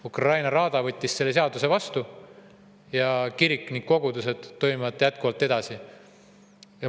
Ukraina raada võttis selle seaduse vastu ning kirik ja kogudused tegutsevad edasi.